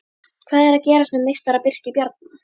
Hvað er að gerast með meistara Birki Bjarna?